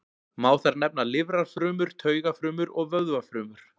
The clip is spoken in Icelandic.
Má þar nefna lifrarfrumur, taugafrumur og vöðvafrumur.